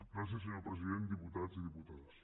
gràcies senyor president diputats i diputades